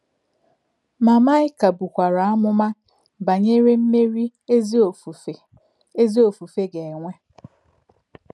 Mà̄ Maị́kā bụ̀kwà̄rà̄ àmùmà̄ bá̄nyèrè̄ mmèrí̄ ézì òfùfè̄ òfùfè̄ gā̄-ènwè̄.